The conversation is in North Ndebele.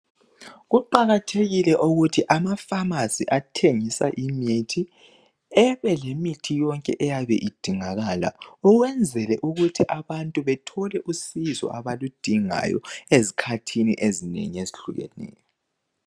Kuqakathekile ukuthi amafamasi , athengisa imithi .Ebe lemithi yonke eyabe idingakala .Ukwenzele ukuthi abantu bethole usizo abaludingayo .Ezikhathini ezinengi ezehlukeneyo.